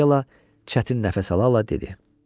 Akela çətin nəfəs alaraq dedi: